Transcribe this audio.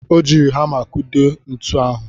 Ọ jiiri hama kụba ntu ahụ.